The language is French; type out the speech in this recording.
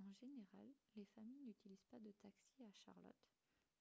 en général les familles n'utilisent pas de taxis à charlotte